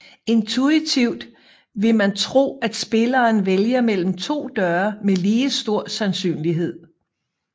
Intuitivt vil man tro at spilleren vælger mellem to døre med ligestor sandsynlighed